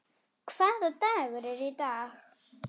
Hvaða dagur er í dag?